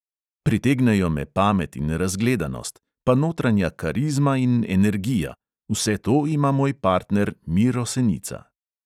Pritegnejo me pamet in razgledanost, pa notranja karizma in energija, vse to ima moj partner miro senica.